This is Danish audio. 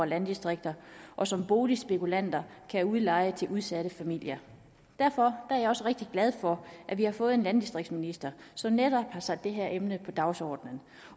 landdistrikter og som boligspekulanter kan udleje til udsatte familier derfor er jeg også rigtig glad for at vi har fået en landdistriktsminister som netop har sat det her emne på dagsordenen